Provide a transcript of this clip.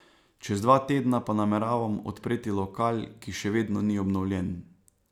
Čez dva tedna pa nameravam odpreti lokal, ki še vedno ni obnovljen.